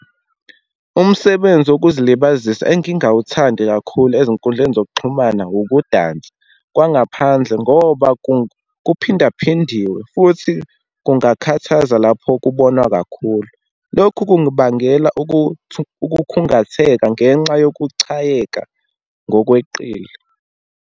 Umsebenzi wokuzilibazisa engingawuthandi kakhulu ezinkundleni zokuxhumana, wukudansa kwangaphandle, ngoba kuphindaphindiwe futhi kungakhathaza lapho kubonwa kakhulu. Lokhu kungibangela ukukhungatheka ngenxa yokuchayeka ngokweqile.